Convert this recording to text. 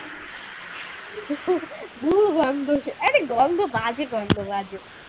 দুর্গন্ধ সে আরে গন্ধ বাজে গন্ধ বাজে।